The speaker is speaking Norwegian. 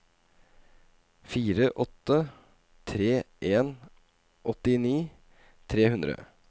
fire åtte tre en åttini tre hundre